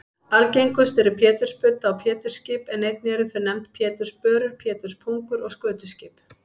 Algengust eru pétursbudda og pétursskip en einnig eru þau nefnd pétursbörur, péturspungur og skötuskip.